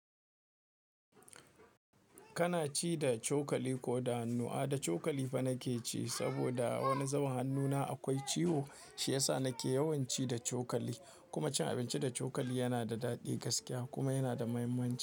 Kana ci da cokali ko da hannu? A'a, da cokali fa nake ci saboda wani zubun hannuna akwai ciwo, shi yasa nake yawan ci da cokali. Kuma cin abinci da cokali yana da daɗi gaskiya kuma yana da muhimmanci.